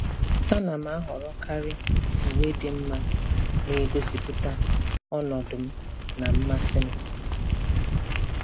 A na m ahọrọkarị uwe dị mma na-egosipụta ọnọdụ m na mmasị m.